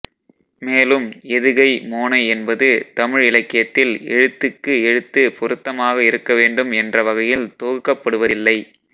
மேலும் எதுகை மோனை என்பது தமிழ் இலக்கியத்தில் எழுத்துக்கு எழுத்து பொருத்தமாக இருக்கவேண்டும் என்ற வகையில் தொகுக்கப்படுவதில்லை